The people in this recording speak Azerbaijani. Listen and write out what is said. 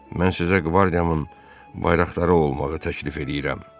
Mən sizə qvardiyamın bayraqdarı olmağı təklif eləyirəm.